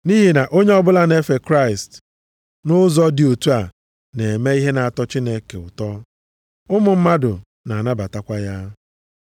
Nʼihi na onye ọbụla na-efe Kraịst nʼụzọ dị otu a, na-eme ihe na-atọ Chineke ụtọ, ụmụ mmadụ na-anabatakwa ya.